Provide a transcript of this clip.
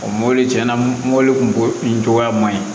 mɔbili cɛn na mɔbili kun cogoya man ɲi